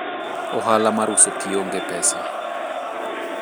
ohala mar uso kio onge pesa